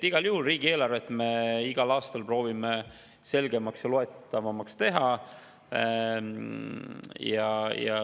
Igal juhul me proovime teha riigieelarvet igal aastal selgemaks ja loetavamaks.